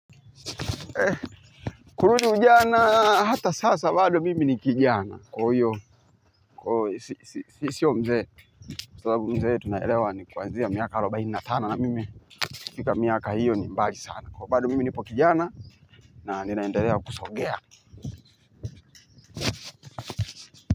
Kurudi ujana, hata sasa bado mimi ni kijana, kwa hio, sio mzee sababu mzee tunaelewa ni kwanzia miaka arubainne na tano na mimi kufika miaka hiyo ni mbali sana. Kwa bado mimi nipo kijana na ninaendelea kusogea.